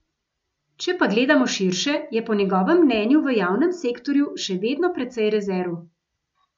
Če pa gledamo širše, je po njegovem mnenju v javnem sektorju še vedno precej rezerv.